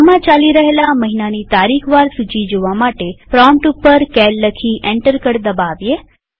હાલમાં ચાલી રહેલા મહિનાની તારીખ વાર સૂચી જોવા પ્રોમ્પ્ટ ઉપર સીએએલ લખી અને એન્ટર કળ દબાવીએ